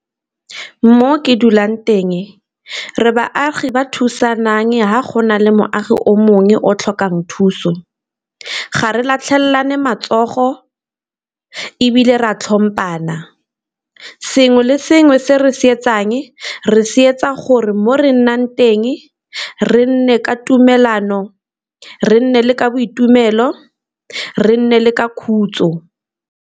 Mo ke dulang teng re baagi ba thusang fa go na le moagi o mongwe o tlhokang thuso, ga re latlhelelane matsogo, ebile re a tlhompana. Sengwe le sengwe se re se etsang re se etsa gore mo re nnang teng re nne ka tumelano, re nne le ka boitumelo, re nne le ka khutso.